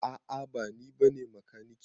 A'a ba ni bane makaniki.